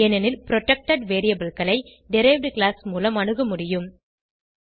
ஏனெனில் புரொடெக்டட் variableகளை derived class மூலம் அணுக முடியும்